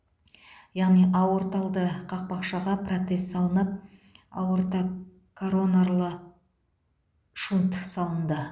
яғни аорталды қақпақшаға протез салынып аортокоронарлы шунт салынды